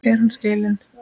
Er hann skilinn?